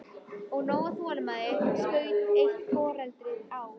Og nóg af þolinmæði, skaut eitt foreldrið að.